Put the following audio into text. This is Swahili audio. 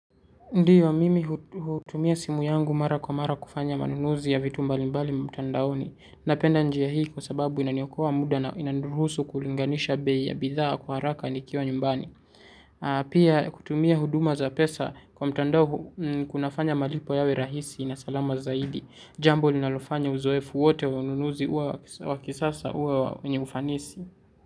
Ndiyo mimi hutumia simu yangu mara kwa mara kufanya manunuzi ya vitu mbalimbali mtandaoni. Napenda njia hii kwa sababu inaniokoa muda na inaniruhusu kulinganisha bei ya bidhaa kwa haraka nikiwa nyumbani. Pia kutumia huduma za pesa kwa mtandao kunafanya malipo yawe rahisi na salama zaidi. Jambo linalofanya uzoefu wote wa ununuzi uwa wakisasa uwe wenye ufanisi.